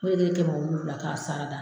N'o de ye kɛmɛ wolonfila k'a sarada.